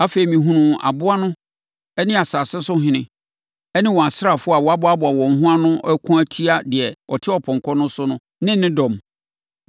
Afei, mehunuu aboa no ne asase so ahene ne wɔn asraafoɔ a wɔaboa wɔn ho ano rekɔko atia deɛ ɔte ɔpɔnkɔ no so no ne ne dɔm.